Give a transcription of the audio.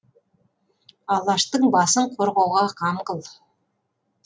алаштың басын қорғауға қам қыл